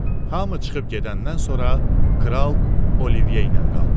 Hamı çıxıb gedəndən sonra kral Olivye ilə qaldı.